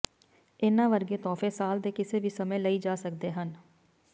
ਇਨ੍ਹਾਂ ਵਰਗੇ ਤੋਹਫ਼ੇ ਸਾਲ ਦੇ ਕਿਸੇ ਵੀ ਸਮੇਂ ਲਈ ਜਾ ਸਕਦੇ ਹਨ